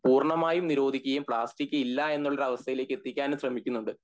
പൂർണമായും നിരോധിക്കയും പ്ലാസ്റ്റിക് ഇല്ല എന്ന ഒരു അവസ്ഥയിലേക്ക് എത്തിക്കാനും ശ്രെമിക്കുന്നുണ്ട്